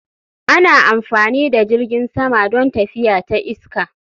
Ana amfani da jirgin sama don tafiya ta iska